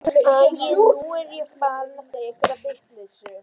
Æi, nú er ég farin að segja einhverja vitleysu.